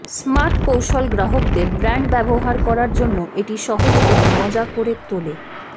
smart কৌশল গ্রাহকদের brand ব্যবহার করার জন্য এটি সহজ এবং মজা করে তোলে